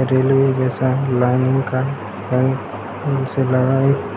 railway जैसा line